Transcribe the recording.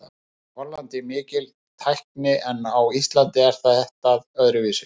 Í Hollandi er mikil tækni en á Íslandi er þetta öðruvísi.